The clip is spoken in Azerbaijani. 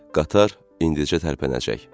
Qatar indicə tərpənəcək.